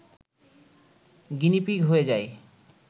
guinea pig হয়ে যাই